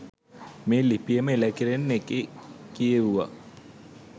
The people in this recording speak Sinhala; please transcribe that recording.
මේ ලිපියම එළකිරි ඒකේ කියෙව්වා.